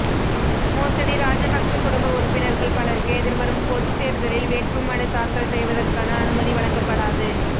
மோசடி ராஜபக்ச குடும்ப உறுப்பினர்கள் பலருக்கு எதிர்வரும் பொது தேர்தலில் வேட்பு மனு தாக்கல் செய்வதற்கான அனுமதி வழங்கப்படாது